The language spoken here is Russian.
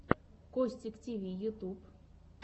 костик тиви ютюб